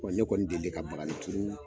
Wa ne kɔni delilen ka bakani turu